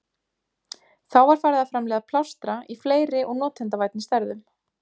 Þá var farið að framleiða plástra í fleiri og notendavænni stærðum.